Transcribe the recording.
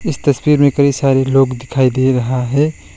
इस तस्वीर में कई सारे लोग दिखाई दे रहा है।